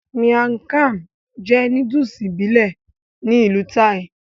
Miang kham jẹ́ nóódùsì ìbílẹ̀ ní ìlú Thai